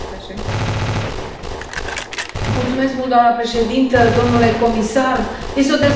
Doamnă președinte, domnule comisar, este o dezbatere despre viața oamenilor.